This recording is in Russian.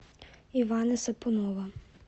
ивана сапунова